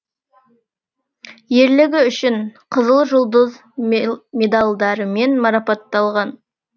ерлігі үшін қызыл жұлдыз медалдарымен марпатталған